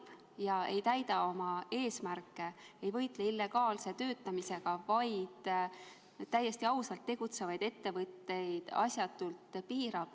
See on halb ega täida oma eesmärke, ei võitle illegaalse töötamisega, vaid täiesti asjatult piirab ausalt tegutsevaid ettevõtteid.